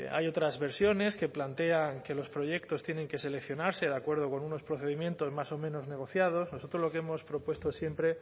hay otras versiones que plantean que los proyectos tienen que seleccionarse de acuerdo con unos procedimientos más o menos negociados nosotros lo que hemos propuesto siempre